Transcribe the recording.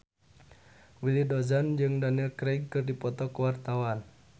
Willy Dozan jeung Daniel Craig keur dipoto ku wartawan